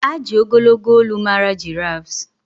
a ji ogologo olu mara giraffes